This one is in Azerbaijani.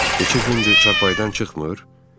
Neçə gündür çarpaydan çıxmır?